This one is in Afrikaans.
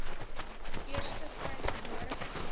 eerste vrygebore geslag